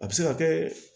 A bɛ se ka kɛ